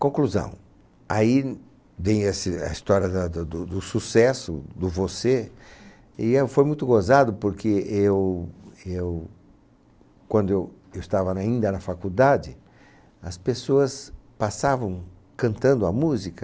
Conclusão, aí vem esse a história da da do do sucesso, do você, e eu foi muito gozado porque eu, eu, quando eu eu estava nainda na faculdade, as pessoas passavam cantando a música,